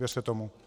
Věřte tomu.